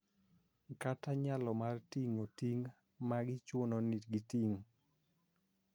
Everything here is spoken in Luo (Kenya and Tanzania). Kata nyalo mar ting�o ting� ma gichuno ni giting�.